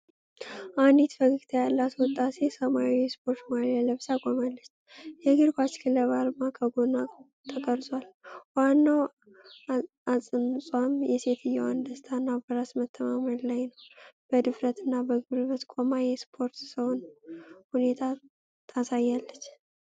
አንዲት ፈገግታ ያላት ወጣት ሴት ሰማያዊ የስፖርት ማልያ ለብሳ ቆማለች። የእግር ኳስ ክለብ አርማ ከጎኗ ተቀርጿል። ዋናው አጽንዖት የሴትዮዋ ደስታና በራስ መተማመን ላይ ነው። በድፍረትና በጉልበት ቆማ የስፖርት ሰውን ሁኔታ ታሳያለች።